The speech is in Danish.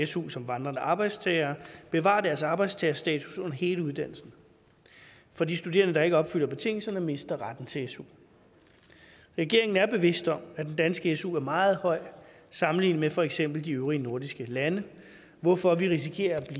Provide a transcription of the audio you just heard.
su som vandrende arbejdstagere bevarer deres arbejdstagerstatus under hele uddannelsen for de studerende der ikke opfylder betingelserne mister retten til su regeringen er bevidst om at den danske su er meget høj sammenlignet med for eksempel de øvrige nordiske lande hvorfor vi risikerer at